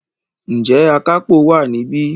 Ǹjẹ́ Akápò wà níbí?